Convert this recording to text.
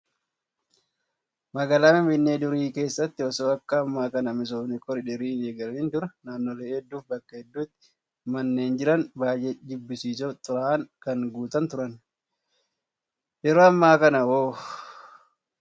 Magaalaa finfinnee durii keessatti osoo akka ammaa kana misoomni koriidarii hin eegalamiin dura naannolee hedduu fi bakka hedduutti manneen jiran baay'ee jibbisiisoo fi xuraa'aan kan guutan turan. Yeroo ammaa kana hoo?